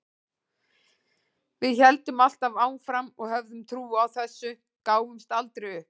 Við héldum alltaf áfram og höfðum trú á þessu, gáfumst aldrei upp.